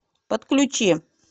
подключи